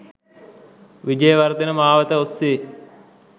විජයවර්ධන මාවත ඔස්සේ